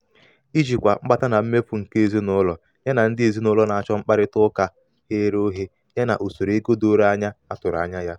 ijikwa mkpata na mmefu nke ezinụlọ ya na ndị ezinụlọ na-achọ mkparịta ụka ghere oghe ya na usoro ego doro anya a tụrụ anya ya.